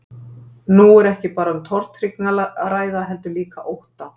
Nú er ekki bara um tortryggni að ræða heldur líka ótta.